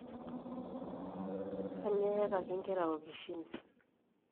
kanyioo eyakaki inkera okishin?